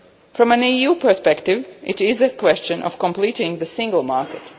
From an EU perspective, it is a question of completing the single market.